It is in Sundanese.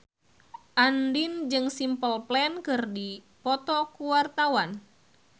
Andien jeung Simple Plan keur dipoto ku wartawan